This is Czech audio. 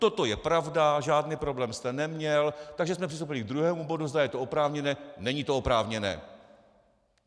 Toto je pravda, žádný problém jste neměl, takže jsme přistoupili k druhém bodu, zda je to oprávněné, není to oprávněné.